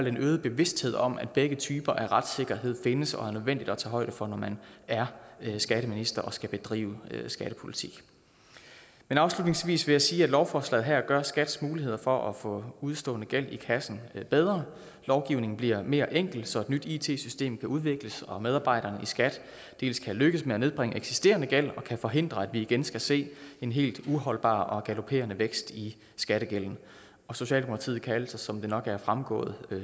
en øget bevidsthed om at begge typer af retssikkerhed findes og er nødvendig at tage højde for når man er skatteminister og skal bedrive skattepolitik afslutningsvis vil jeg sige at lovforslaget her gør skats muligheder for at få udestående gæld i kassen bedre lovgivningen bliver mere enkel så et nyt it system kan udvikles og medarbejderne i skat dels kan lykkes med at nedbringe eksisterende gæld dels kan forhindre at vi igen skal se en helt uholdbar og galopperende vækst i skattegælden socialdemokratiet kan altså som det nok er fremgået